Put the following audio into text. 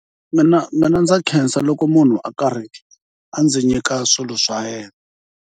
Mina mina ndza khensa loko munhu a karhi a ndzi nyika swilo swa yena.